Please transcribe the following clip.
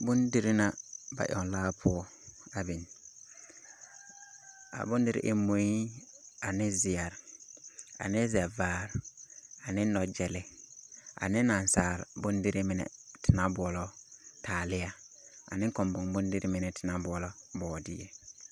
Bondiri na ba yaŋlaa poɔ a biŋ. A bondiri en mui ane zeɛre ane zɛvaare ane nɔgyɛlɛ ane nasal bondiri mine te naŋ boɔlɔ taaleɛ ane kɔmbɔŋ bondiri mine te naŋ boɔlɔ bɔɔdeɛ.